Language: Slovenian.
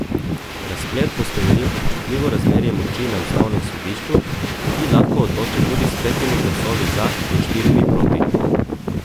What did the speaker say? Razplet bo spremenil občutljivo razmerje moči na ustavnem sodišču, ki lahko odloči tudi s petimi glasovi za in štirimi proti.